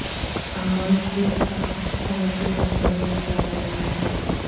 عمل خود سخت حکومتی کنٹرول میں جگہ لیتا ہے